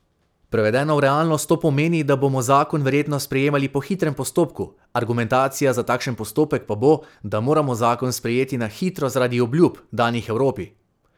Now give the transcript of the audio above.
Prevedeno v realnost to pomeni, da bomo zakon verjetno sprejemali po hitrem postopku, argumentacija za takšen postopek pa bo, da moramo zakon sprejeti na hitro zaradi obljub, danih Evropi.